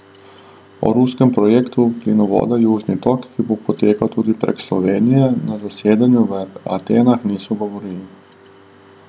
O ruskem projektu plinovoda Južni tok, ki bo potekal tudi prek Slovenije, na zasedanju v Atenah niso govorili.